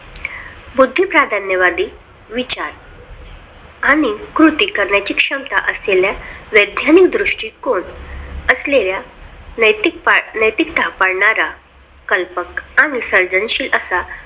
बुद्धी प्राधान्यवादी विचार आणि कृती करण्याची क्षमता असलेल्या वैज्ञानिक दृष्टिकोन असलेल्या नैतिक छाप पाडणारा कल्पक आणि सर्जनशील असा